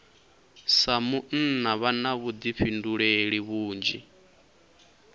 sa munna vha na vhuḓifhinduleli vhunzhi